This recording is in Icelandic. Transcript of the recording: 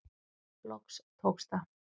Loks tókst það.